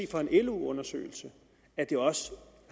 fra en lo undersøgelse at det også